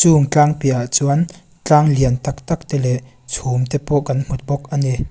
chung tlang piah ah chuan tlang lian tak tak te leh chhum te pawh kan hmu bawk a ni.